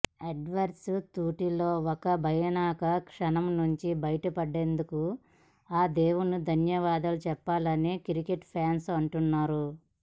Edwards తృటిలో ఒక భయానక క్షణం నుంచి బయటపడ్డందుకు ఆ దేవునికి ధన్యవాదాలు చెప్పాలని క్రికెట్ ఫ్యాన్స్ అంటున్నారు